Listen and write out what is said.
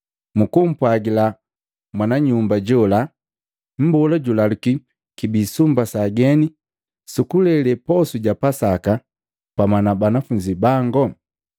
Mukumpwajila mwana nyumba jola, ‘Mbola julaluki, kibi kwa sumba sa ageni sukulele posu ja Pasaka pamwa na banafunzi bango?’